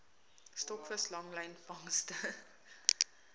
stokvis langlyn vangste